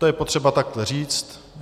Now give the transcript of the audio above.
To je potřeba takhle říct.